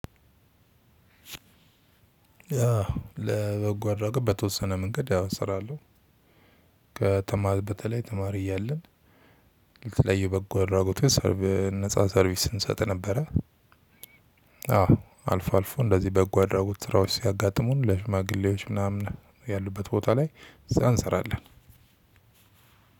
ለበጎ አድራጎት በተወሰነ መንገድ ያው እሰራለው ከተማ በተለይ ተማሪ እያለን ለተለያየ በጎ አድራጎት የሰርቭ ነፃ ሰርቪስ እንሰጥ ነበረ። አዎ አልፎ አልፎ እንደዚህ በጎ አድራጎት ስራዎች ሲያጋጥሙን ለሽማግሌዎች ምናምን ያሉበት ቦታ ላይ ስራ እንሰራለን።